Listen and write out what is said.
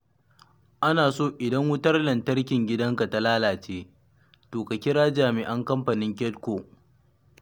Ana so idan wutar lantarkin gidanka ta lalace, to ka kira jami'an Kamfanin Kedko.